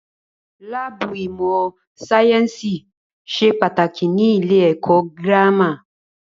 Láàbù ìmọ̀ sáyẹ́nsì ṣe pàtàkì ní ilé ẹ̀kọ́ gírámà.